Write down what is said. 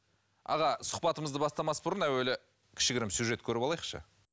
аға сұхбатымызды бастамас бұрын әуелі кішігірім сюжет көріп алайықшы